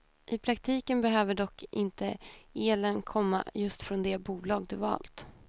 I praktiken behöver dock inte elen komma just från det bolag du valt.